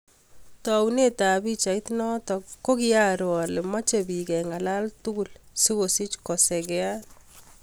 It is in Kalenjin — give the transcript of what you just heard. Taunet ap pichait notok ko kiaroo alee mechee piik kengalala tugul sikosich kosegea